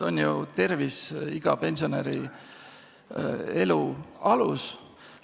On ju tervis iga pensionäri elu alus.